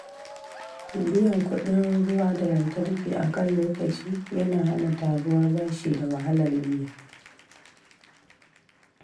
Biyan kudin ruwa da lantarki a kan lokaci yana hana taruwar bashi da wahalar biya.